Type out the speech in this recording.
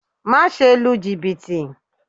Má ṣe lu jìbìtì